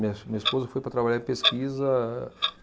Minha es, minha esposa foi para trabalhar em pesquisa.